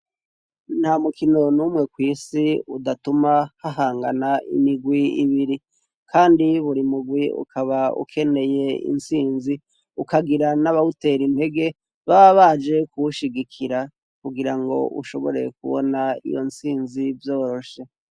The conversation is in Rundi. Nta mukino n'umwe kw'isi udatuma hahangana imigwi ibiri, kandi buri mugwi ukaba ukeneye intsinzi ukagira n'abawutera impege ba baje kuwushigikira kugira ngo ushoboreye kubona iyo ntsinzi vyoroshe.